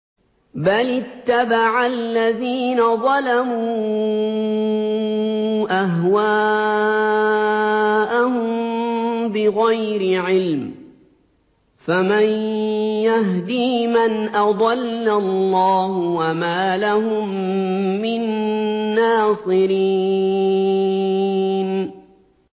بَلِ اتَّبَعَ الَّذِينَ ظَلَمُوا أَهْوَاءَهُم بِغَيْرِ عِلْمٍ ۖ فَمَن يَهْدِي مَنْ أَضَلَّ اللَّهُ ۖ وَمَا لَهُم مِّن نَّاصِرِينَ